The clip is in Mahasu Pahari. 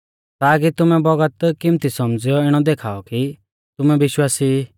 ताकी तुमै बौगत किमती सौमझ़ियौ इणौ देखाऔ कि तुमै विश्वासी ई